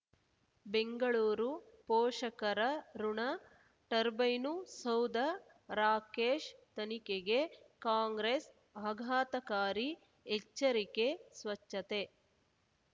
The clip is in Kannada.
ಬೆಂಗಳೂರು ಪೋಷಕರಋಣ ಟರ್ಬೈನು ಸೌಧ ರಾಕೇಶ್ ತನಿಖೆಗೆ ಕಾಂಗ್ರೆಸ್ ಆಘಾತಕಾರಿ ಎಚ್ಚರಿಕೆ ಸ್ವಚ್ಛತೆ